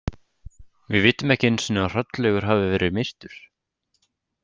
Við vitum ekki einu sinni að Hrollaugur hafi verið myrtur.